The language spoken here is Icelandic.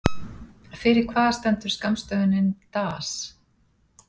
Fyrir hvað stendur skammstöfunin DAS?